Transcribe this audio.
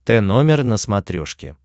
тномер на смотрешке